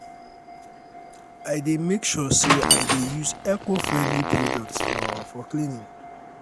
i dey make sure say i dey use eco-friendly products for for cleaning.